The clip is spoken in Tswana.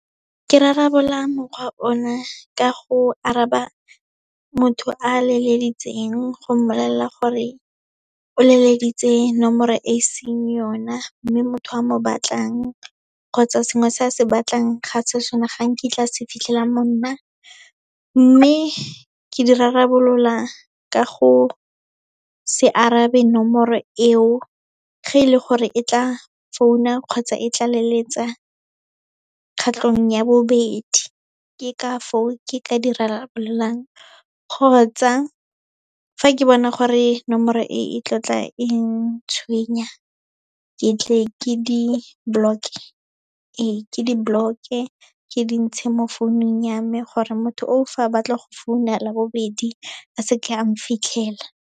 Ke rarabolola mokgwa o na, ka go araba motho a leleditseng, go mmolelela gore o leleditse nomoro e seng yona, mme motho a mo batlang kgotsa sengwe se a se batlang ga se sona, ga nkitla a se fitlhela mo nna. Mme, ke di rarabolola ka go se arabe nomoro eo, ge e le gore e tla founa kgotsa e tla leletsa kgetlhong ya bobedi, ke ka foo ke ka di rarabololwang. Kgotsa, fa ke bona gore nomoro e tlo tla eng tshwenya, ke tle ke di-block-e, ee, ke di-block-e ke di ntshe mo founung ya me gore motho o, fa a batla go founa la bobedi a se ke a nfitlhela.